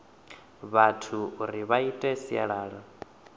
vhathu uri vha ite sialala